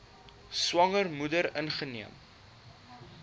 swanger moeder ingeneem